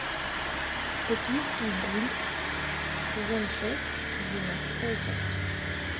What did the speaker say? токийский гуль сезон шесть двенадцатая часть